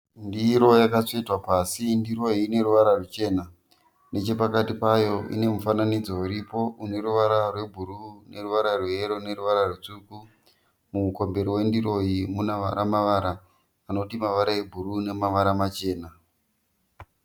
Ndiro yakatsvetwa pasi, ndiro iyi ineruvara rwuchena nechepakati payo inemufananidzo uripo uneruvara rwebhuruu neruvara rweyero neruvara rwutsvuku. Mumukombero wendiro iyi munamavara-mavara anoti mavara ebhuruu nemavara machena.